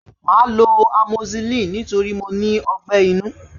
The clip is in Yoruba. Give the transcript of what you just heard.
Màá lo amoxicillin nítorí mo ní àrùn ọgbẹ́-inú